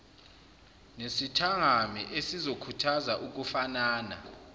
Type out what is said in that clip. nesithangami esizokhuthaza ukufanana